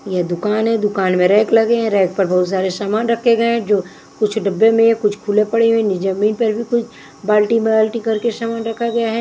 यह दुकान है दुकान में रैक लगे हैं रैक पर बहुत सारे सामान रखे गए है जो कुछ डब्बे में या कुछ खुले पड़े हुए नी जमीन पर भी कुछ बाल्टी-बाल्टी करके सामान रखा गया है।